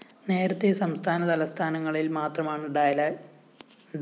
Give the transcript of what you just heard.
നേരത്തേ സംസ്ഥാന തലസ്ഥാനങ്ങളില്‍ മാത്രമാണു ഡയാലിസിസ്‌ നടത്തിയിരുന്നത്